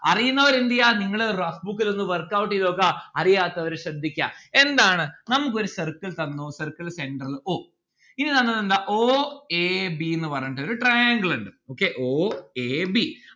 അറിയുന്നവർ എന്ത് ചെയ്യാ നിങ്ങളെ rough book ഇലൊന്ന് workout എയ്ത നോക്കാ. അറിയാത്തവർ ശ്രദ്ധിക്ക എന്താണ് നമ്മുക്കൊരു circle തന്നു circle centre o ഇനി തന്നത് എന്താ o a b ന്ന്‌ പറഞ്ഞിട്ടുള്ളൊരു triangle ഇണ്ട് o a b